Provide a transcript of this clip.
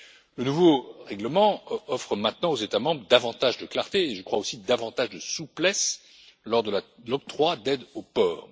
Le nouveau règlement procure maintenant aux États membres davantage de clarté et aussi davantage de souplesse lors de l'octroi d'aides aux ports.